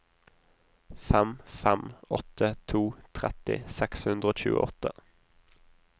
fem fem åtte to tretti seks hundre og tjueåtte